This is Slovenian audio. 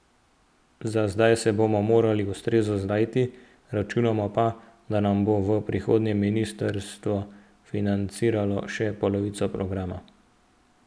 Za zdaj se bomo morali ustrezno znajti, računamo pa, da nam bo v prihodnje ministrstvo financiralo še polovico programa.